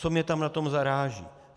Co mě tam na tom zaráží?